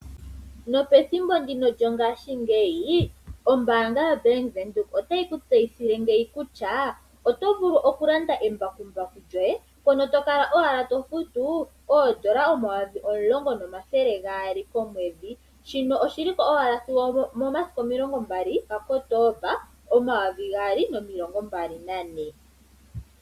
Nopethimbo ndino lyongaashingeyi, ombaanga yaBank Windhoek otayi ku tseyithile ngeyi kutya oto vulu oku landa embakumbaku lyoye mpono to kala owala to futu oondola omayovi omulongo nomathele gaali komwedhi, shino oshi lipo owala sigo omomasiku omilongo mbali ga Kotoba, omayovi gaali nomilongo mbali nane.